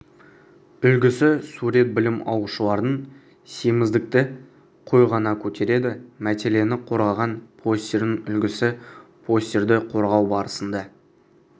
үлгісі сурет білім алушылардың семіздікті қой ғана көтереді мәтеліне қорғаған постерінің үлгісі постерді қорғау барысында